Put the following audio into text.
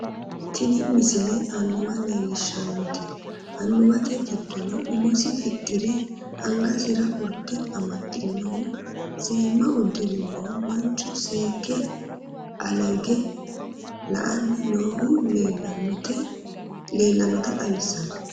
tini misile annuwa leellishshannote annuwate giddono umosi fixxire angasira urde amaxxinohu seemma uddirinohu manchu seekke aleege la'anni noohu leellannota xawissanno